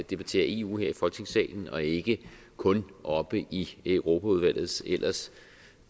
debattere eu her i folketingssalen og ikke kun oppe i europaudvalgets ellers